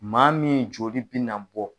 Maa min joli bɛ na bɔ.